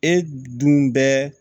E dun bɛ